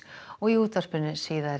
og í útvarpinu